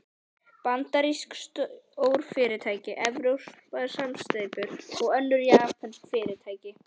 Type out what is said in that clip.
Bandarísk stórfyrirtæki, evrópskar samsteypur, önnur japönsk fyrirtæki.